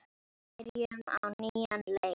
Byrjum á nýjan leik.